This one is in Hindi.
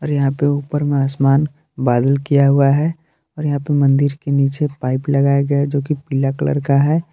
यहाँ पे ऊपर मे आसमान बादल किया हुआ है और यहाँ पे मन्दिर के नीचे पाइप लगाया गया है जो कि पीला कलर का है।